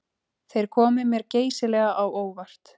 Þeir komu mér geysilega á óvart